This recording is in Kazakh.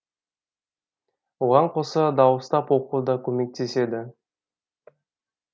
оған қоса дауыстап оқу да көмектеседі